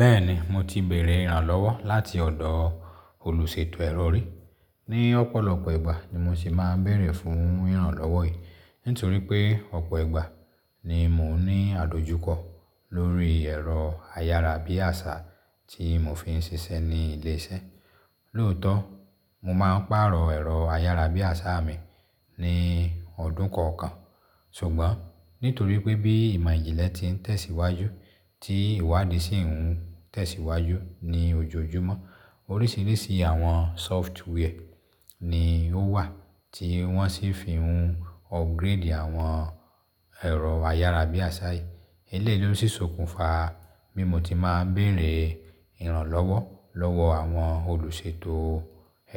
Bẹ́ẹ̀ ni, mo ti bèrè ìrànlọ́wọ́ láti ọ̀dọ̀ olùṣètò ẹ̀rọ ri. Ni ọ̀pọ̀lọpọ̀ ìgbà ni mo sì máa ń bèrè fún ìrànlọ́wọ́ yìí, nítorí pé ọ̀pọ̀ ìgbà ni mò ń ní àdojúkọ lórí ẹ̀rọ ayárabíàṣá tí mò ń fi ń ṣiṣẹ́ ní ilé iṣẹ́. Lóòótọ́, mo máa ń pààrọ̀ ẹ̀rọ ayárabíàṣá mi ní ọdún kọ̀ọ̀kan, ṣùgbọ́n nítorí pé bí ìmọ̀ ìjìnlẹ̀ ti ń tẹ̀síwájú, tí ìwádìí sì ń tẹ̀síwájú ní ojoojúmọ́, oríṣiríṣi àwọn sófútúwẹ́ ni ó wà tí wọ́n sì fi ń upgrade àwọn ẹ̀rọ ayárabíàṣá yìí. Eléyìí ló sì sokùnfà bí mo ti máa ń bèrè ìrànlọ́wọ́ lọ́wọ́ àwọn olùṣètò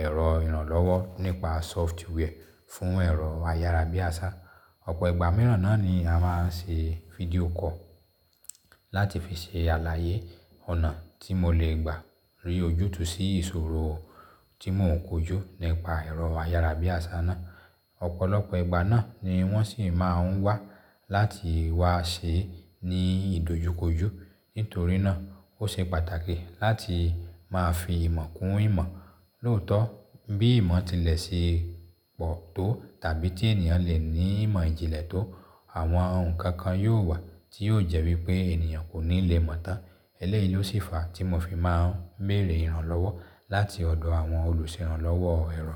ẹ̀rọ ìrànlọ́wọ́ nípa software fún ẹ̀rọ ayárabíàṣá. Ọ̀pọ̀ ìgbà mìíràn náà ni a máa ń ṣe fídíò call láti fi ṣe àlàyé ọ̀nà tí mo lè gbà ri ojútùú sí ìṣòro tí mò ń kojú nípa ẹ̀rọ ayárabíàṣá náà. Ọ̀pọ̀lọpọ̀ ìgbà náà ni wọ́n sì máa ń wá láti wá ṣẹ ní ìdojúkojú. Nítorí náà ó ṣe pàtàkì láti máa fi ìmọ̀ kún ìmọ̀. Lóòótọ́, bí ìmọ̀ tilẹ̀ ṣe pọ̀ tó tàbí tí ènìyàn le ní ìmọ̀ ìjìnlẹ̀ tó, àwọn ohun kan kan yóò wà tí yóò jẹ́ wí pé ènìyàn kò ní lè mọ̀ tán. Eléyìí ló sì fà átí mò fi máa ń bèrè ìrànlọ́wọ́ láti ọ̀dọ̀ àwọn olùṣèranlọ́wọ́ ẹ̀rọ.